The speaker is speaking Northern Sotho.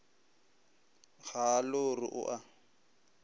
ga a lore o a